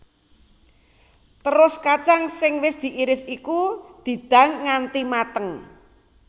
Terus kacang sing wis diiris iku didang nganti mateng